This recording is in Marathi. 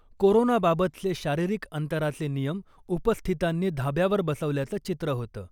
कोरोनाबाबतचे शारीरिक अंतराचे नियम उपस्थितांनी धाब्यावर बसवल्याचं चित्र होतं .